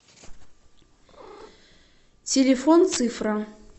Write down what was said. телефон цифра